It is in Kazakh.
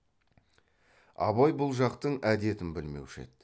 абай бұл жақтың әдетін білмеуші еді